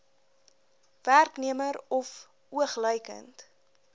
werknemer of oogluikend